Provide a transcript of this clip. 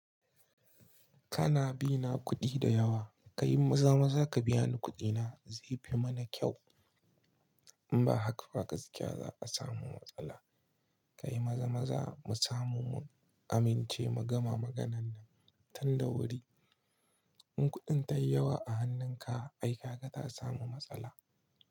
Kana bi na kuɗi da yawa, ka yi maza-maza ka biya ni kuɗi na zai fi mana kyau. In ba haka ba gaskiya za a samu matsala. Ka yi maza-maza mu samu mu amince mu gama maganan nan tun da wuri. In kuɗin ta yi yawa a hannunka ai kaga ta samu matsala.